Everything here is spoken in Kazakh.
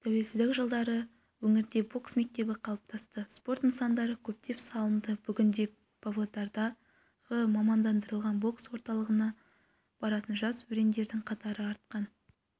тәуелсіздік жылдары өңірде бокс мектебі қалыптасты спорт нысандары көптеп салынды бүгінде павлодардағы мамандандырылған бокс орталығына баратын жас өрендердің қатары артқан